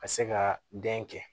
Ka se ka den kɛ